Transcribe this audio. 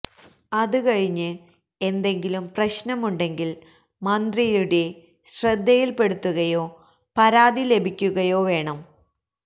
അത് കഴിഞ്ഞ് എന്തെങ്കിലും പ്രശ്നമുണ്ടെങ്കിൽ മന്ത്രിയുടെ ശ്രദ്ധയിൽപ്പെടുത്തുകയോ പരാതി ലഭിക്കുകയോ വേണം